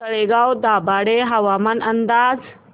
तळेगाव दाभाडे हवामान अंदाज